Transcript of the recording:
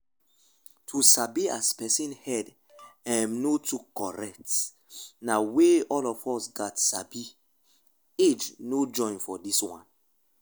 to dey sabi as person head emm no too correct na weyth all of us gats sabi age no join for this one